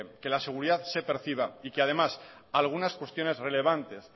que la seguridad se perciba y que además algunas cuestiones relevantes